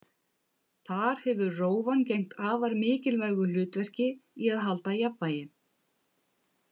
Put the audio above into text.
Þar hefur rófan gegnt afar mikilvægu hlutverki í að halda jafnvægi.